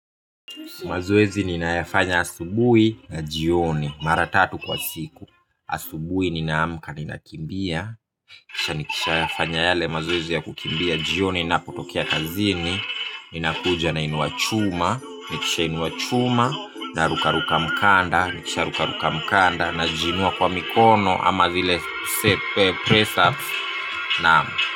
Mazoezi ninayafanya asubuhi na jioni mara tatu kwa siku. Asubuhi ninaamka ninakimbia, kisha nikishafanya yale mazoezi ya kukimbia, jioni napotokea kazini. Ninakuja nainua chuma. Nikishainua chuma na rukaruka kamba. Nikisharuka kamba, najiinua kwa mikono ama zile press-ups. Naam.